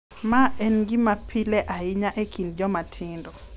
Ma en gima pile ahinya e kind joma tindo.